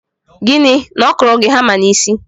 Gịnị? Na ọ kụrụ gị hama n'isi?